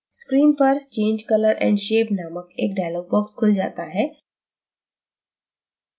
screen पर change color & shape named एक dialog box खुल जाता है